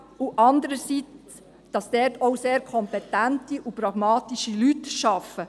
Andererseits wird aufgezeigt, dass dort sehr kompetente und pragmatische Leute arbeiten.